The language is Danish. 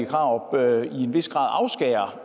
og